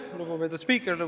Lugupeetud spiiker!